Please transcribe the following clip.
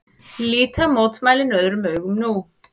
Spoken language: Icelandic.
Líta mótmælin öðrum augum nú